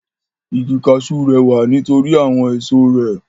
Igi kaṣú rẹwà nít'orí àwọn èso rẹ̀.